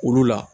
Olu la